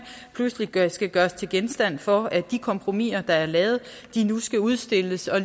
pludselig skal gøres til genstand for at de kompromiser der er lavet nu skal udstilles